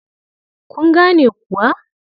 Kun gane kuwa?